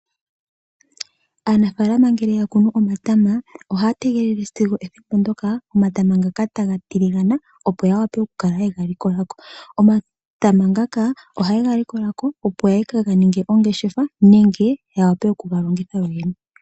Aanafalama ngele yakunu omata ohaatengele ngele omatama gatilingana opo yega likoleko. Omatama ngaka ohaye kegalikolako opo yeke galandithe nenge yega tule momuhoka.